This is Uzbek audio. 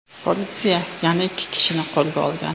Politsiya yana ikki kishini qo‘lga olgan.